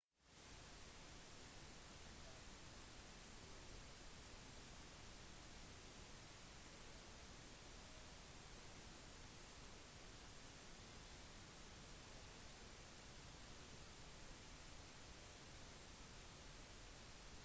tidlig i tiden som en uavhengig nasjon ble øya omgjort til en tropisk hageby singapor botaniske hage bidro med fagkunnskaper